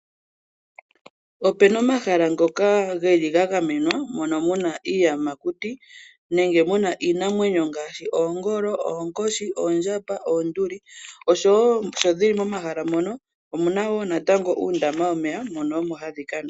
Opena omahala ngoka geli ga gamenwa mono muna iiyamakuti nenge muna iinamwenyo ngaashi oongolo, oonkoshi, oondjamba, oonduli, oshowo sho dhili momahala mono omuna wo natango uundama womeya mono omo hadhi kanwa.